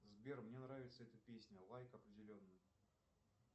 сбер мне нравится эта песня лайк определенно